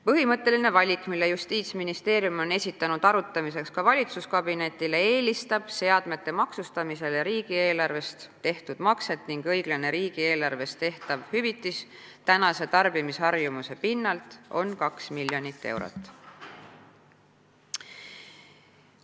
Põhimõtteline valik, mille Justiitsministeerium on esitanud arutamiseks ka valitsuskabinetile, eelistab seadmete maksustamisele riigieelarvest tehtud makset ning õiglane riigieelarvest tehtav hüvitis praeguse tarbimisharjumuse pinnalt oleks 2 miljonit eurot.